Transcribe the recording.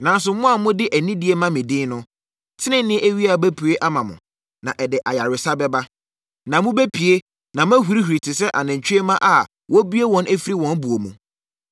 Nanso, mo a mode anidie ma me din no, tenenee awia bɛpue ama mo, na ɛde ayaresa bɛba. Na mobɛpue na moahurihuri te sɛ anantwie mma a wɔabue wɔn afiri wɔn buo mu.